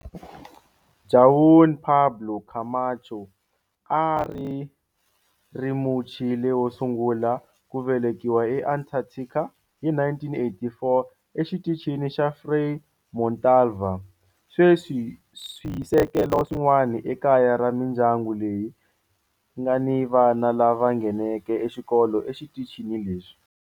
Juan Pablo Camacho a a ri Muchile wo sungula ku velekiwa eAntarctica hi 1984 eXitichini xa Frei Montalva. Sweswi swisekelo swin'wana i kaya ra mindyangu leyi nga ni vana lava nghenaka xikolo exitichini lexi.